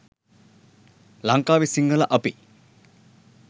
ලංකාවේ සිංහල අපි